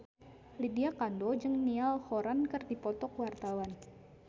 Lydia Kandou jeung Niall Horran keur dipoto ku wartawan